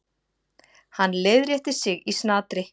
Hann leiðrétti sig í snatri.